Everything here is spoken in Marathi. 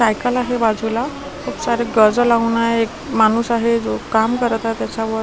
सायकल आहे बाजूला खूप सारे गाज लावून एक माणूस आहे जो काम करत आहे त्याच्यावर --